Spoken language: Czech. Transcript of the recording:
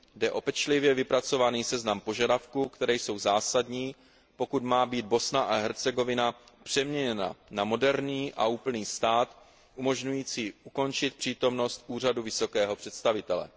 Jde o pečlivě vypracovaný seznam požadavků, které jsou zásadní, pokud má být Bosna a Hercegovina přeměněna na moderní a úplný stát, umožňující ukončit přítomnost Úřadu vysokého představitele.